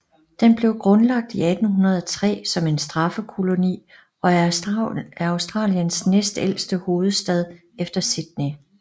Den blev grundlagt i 1803 som en straffekoloni og er Australiens næstældste hovedstad efter Sydney